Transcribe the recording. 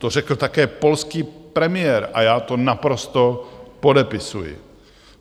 To řekl také polský premiér a já to naprosto podepisuji.